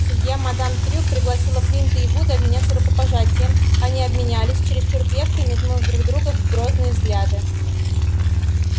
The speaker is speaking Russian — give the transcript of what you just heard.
судья мадам трюк пригласила флинта и вуда обменяться рукопожатием они обменялись чересчур крепко и метнув друг в друга грозные взгляды